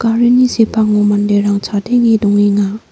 garini sepango manderang chadenge dongenga.